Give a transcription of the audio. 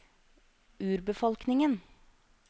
urbefolkningen